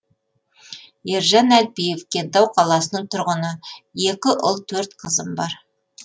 ержан әлпиев кентау қаласының тұрғыны екі ұл төрт қызым бар